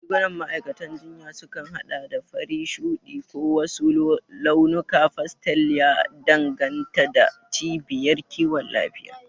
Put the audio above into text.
Rigunan ma'aikatan jinya sukan haɗa da fari, shuɗi, ko wasu launukan pastel, ya danganta da cibiyar kiwon lafiya.